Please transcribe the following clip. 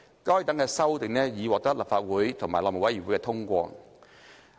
該等修訂已獲立法會和內務委員會通過。